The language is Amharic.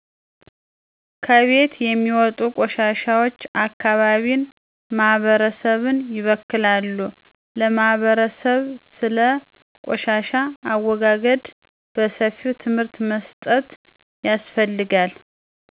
ከቤት የሚወጡ ቆሻሾች አካባቢን ማህበረሰብን ይበክላሉ ለማህበረሰብ ስለ ቆሻሻ አወጋገድ በሰፊው ትምህርት መስጠት ያስፈልጋል